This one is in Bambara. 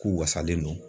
K'u wasalen don